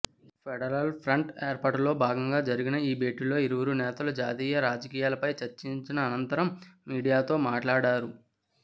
federal front ఏర్పాటులో భాగంగా జరిగిన ఈ భేటీలో ఇరువురు నేతలూ జాతీయ రాజకీయాలపై చర్చించిన అనంతరం మీడియాతో మాట్లాడారు